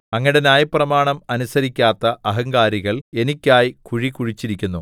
അങ്ങയുടെ ന്യായപ്രമാണം അനുസരിക്കാത്ത അഹങ്കാരികൾ എനിക്കായി കുഴി കുഴിച്ചിരിക്കുന്നു